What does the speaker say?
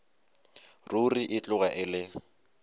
ruri e tloga e le